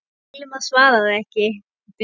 Hilmar svaraði ekki.